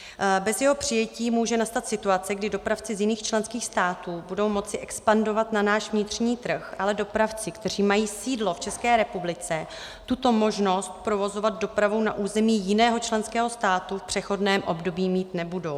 Bez jeho přijetí může nastat situace, kdy dopravci z jiných členských států budou moci expandovat na náš vnitřní trh, ale dopravci, kteří mají sídlo v České republice, tuto možnost provozovat dopravu na území jiného členského státu v přechodném období mít nebudou.